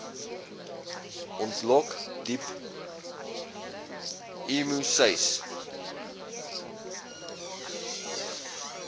ontlok diep emoseis